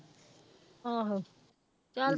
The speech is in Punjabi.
ਆਹੋ ਚੱਲ